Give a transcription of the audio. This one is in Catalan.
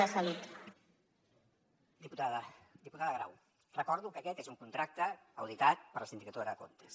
diputada diputada grau recordo que aquest és un contracte auditat per la sindicatura de comptes